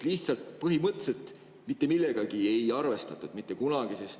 Lihtsalt põhimõtteliselt mitte millegagi ei arvestatud mitte kunagi.